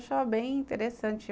Eu achava bem interessante.